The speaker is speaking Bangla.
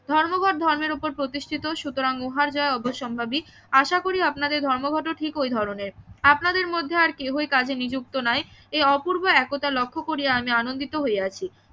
ধর্মঘট ধর্মের ওপর প্রতিষ্ঠিত সুতরাং উহার যা অবশ্যম্ভাবী আশা করি আপনাদের ধর্মঘটও ঠিক ওই ধরণের আপনাদের মধ্যে আর কেহই কাজে নিযুক্ত নাই এই অপূর্ব একতা লক্ষ্য করিয়া আমি আনন্দিত হইয়াছি